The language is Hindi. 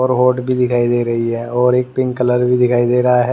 और होट भी दिखाई दे रही है और एक पिंक कलर भी दिखाई दे रहा है ।